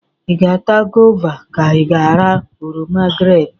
Ị ga-ata goova ka ị ga-ara oroma grep?